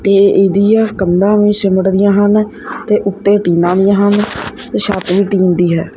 ਤੇ ਇਡੀਆ ਕੰਧਾਂ ਵੀ ਸੀਮਟ ਦੀਆਂ ਹਨ ਤੇ ਉੱਤੇ ਟੀਨਾਂ ਵੀ ਹਨ ਤੇ ਛੱਤ ਵੀ ਟੀਨ ਦੀ ਹੈ।